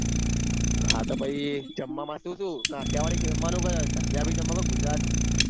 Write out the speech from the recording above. હા તો પહિ જામ્બા માં સુ સુ કાઠિયાવાડી કે જમવાનું પંજાબી જમવું કે ગુજરાતી